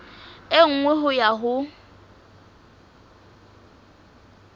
e nngwe ho ya ho